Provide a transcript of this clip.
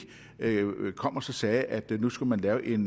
kom og sagde at man nu skulle lave en